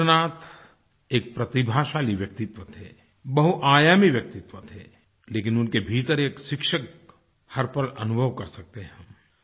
रबीन्द्रनाथ एक प्रतिभाशाली व्यक्तित्व थे बहुआयामी व्यक्तित्व थे लेकिन उनके भीतर एक शिक्षक हर पल अनुभव कर सकते हैं